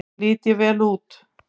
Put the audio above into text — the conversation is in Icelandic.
Lít ég vel út?